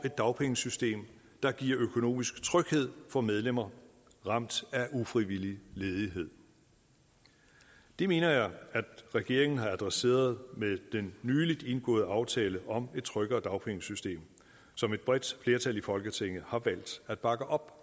et dagpengesystem der giver økonomisk tryghed for medlemmer ramt af ufrivillig ledighed det mener jeg at regeringen har adresseret med den nyligt indgåede aftale om et tryggere dagpengesystem som et bredt flertal i folketinget har valgt at bakke op